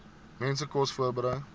mense kos voorberei